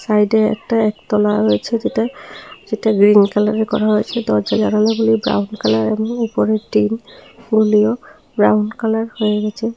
সাইডে একটা একতলা রয়েছে যেটা যেটা গ্রীন কালার করা হয়েছে দরজা জানালা গুলি ব্রাউন কালার এবং উপরে টিন গুলিও ব্রাউন কালার হয়ে গেছে।